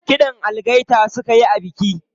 Kiɗan algaita suka yi a biki.